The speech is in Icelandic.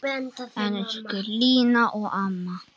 Elsku Lína amma.